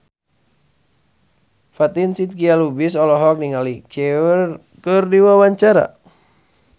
Fatin Shidqia Lubis olohok ningali Cher keur diwawancara